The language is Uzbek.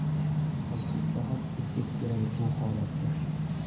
Qaysi islohot effekt beradi bu holatda?